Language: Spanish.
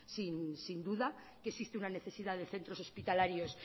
sin duda que existe una necesidad de centros hospitalarios